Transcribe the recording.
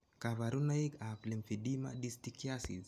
Kaparunoik ap lymphedema distichiasis